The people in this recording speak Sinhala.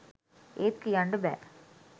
ඒත් කියන්ඩ බෑ